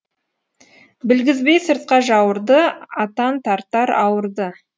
білгізбей сыртқа жауырды атан тартар ауырды